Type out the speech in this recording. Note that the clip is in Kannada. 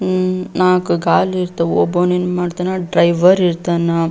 ಹಮ್ಮ್ ನಾಲ್ಕು ಗಾಲ್ ಇರ್ತವು ಒಬ್ಬನ್ ಏನ್ ಮಾಡ್ತಾನ ಡ್ರೈವರ್ ಇರ್ತಾನ.